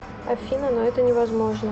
афина но это невозможно